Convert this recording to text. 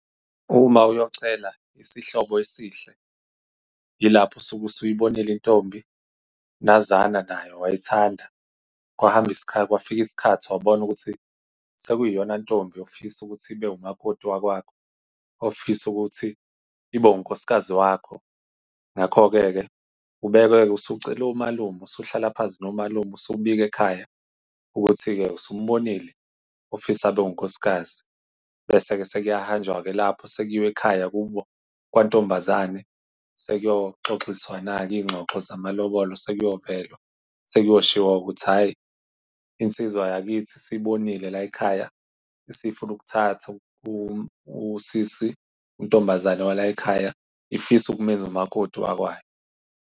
Uma uyocela isihlobo esihle, yilapho usuke usuyibonile intombi nazana nayo, wayithanda. Kwahamba , kwafika isikhathi wabona ukuthi sekuyiyona ntombi ofisa ukuthi ibe umakoti wakwakho. Ofisa ukuthi ibe unkosikazi wakho. Ngakho-ke ke, ube-ke ke usucela omalume, usuhlala phansi nomalume usubika ekhaya ukuthi-ke usumbonile ofisa abe unkosikazi. Bese-ke sekuyahanjwa-ke lapho, sekuyiwa ekhaya kubo kwantombazane, sekuyoxoxiswana-ke izingxoxo zamalobolo. Sekuyovelwa. Sekuyoshiwo-ke ukuthi, hhayi insizwa yakithi isiyibonile layikhaya. Isifuna ukuthatha usisi, untombazane walayikhaya. Ifisa ukumenza umakoti wakwayo.